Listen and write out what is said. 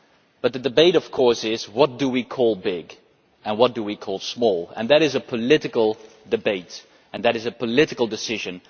But the debate, of course, is about what we call big and what we call small. That is a political debate and a political decision.